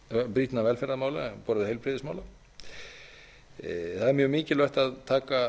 brýnna velferðarmála á borð við heilbrigðismál það er mjög mikilvægt að taka